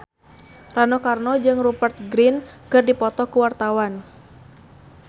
Rano Karno jeung Rupert Grin keur dipoto ku wartawan